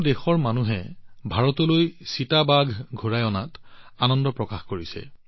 দেশৰ সকলো প্ৰান্তৰ লোকে ভাৰতলৈ চিতা ঘূৰাই অনাত আনন্দ প্ৰকাশ কৰিছে